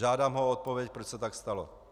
Žádám ho odpověď, proč se tak stalo.